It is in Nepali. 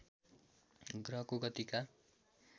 ग्रहको गतिका